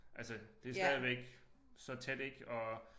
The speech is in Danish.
Altså det stadigvæk så tæt ik og